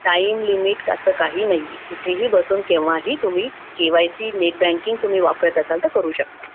time limit असं काहीही नाहीये तुम्ही कुठेही बसून तुम्ही केव्हाही नेट बँकिंग तुम्ही वापरत असाल तर करू शकता